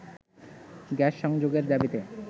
gas সংযোগের দাবিতে